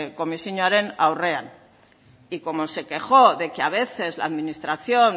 komisioaren aurrean y como se quejó de que a veces la administración